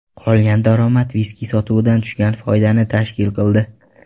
Qolgan daromad viski sotuvidan tushgan foydani tashkil qildi.